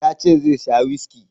Ya ce zai sha whiskey.